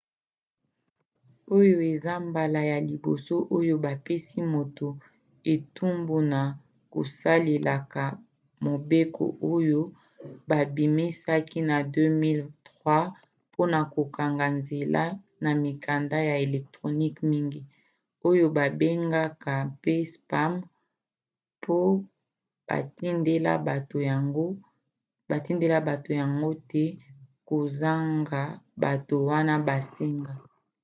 oyo eza mbala ya liboso oyo bapesi moto etumbu na kosalelaka mobeko oyo babimisaki na 2003 mpona kokanga nzela na mikanda ya electronique mingi oyo babengaka mpe spam mpo batindela bato yango te kozanga bato wana basenga